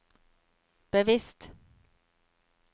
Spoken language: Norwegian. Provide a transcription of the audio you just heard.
bevisst